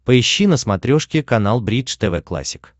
поищи на смотрешке канал бридж тв классик